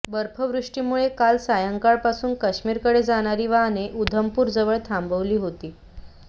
बर्फवृष्टीमुळे काल सायंकाळपासून काश्मीरकडे जाणारी वाहने उधमपूरजवळ थांबवली होती